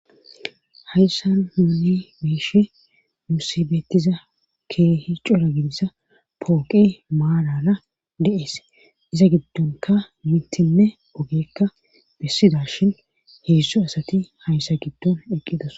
hayssa huuni meishe nuusibeettiza keehi cola ginsa pooqe maalala de7es iza giddonka mintinne ogeekka bessida shin heyssu asati hayssa giddon eqqidos